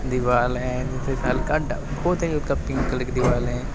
दीवाल है नीचे से हल्का बहुते हल्का पिंक कलर की दीवाल है।